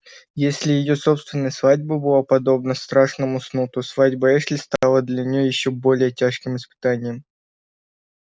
если её собственная свадьба была подобна страшному сну то свадьба эшли стала для неё ещё более тяжким испытанием